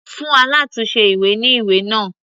Fún alátùnse ìwé ní ìwé náà.